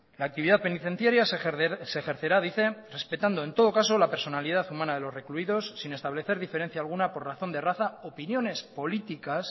la actividad penitenciaria se ejercerá dice respetando en todo caso la personalidad humana de los recluidos sin establecer diferencia alguna por razón de raza opiniones políticas